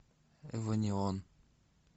эвонеон